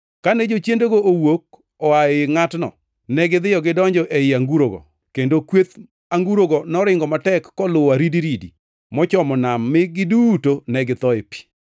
Kane jochiendego nowuok oa ei ngʼatno, negidhiyo gidonjo ei angurogo, kendo kweth angurogo noringo matek koluwo aridiridi mochomo nam mi giduto ne githo ei pi.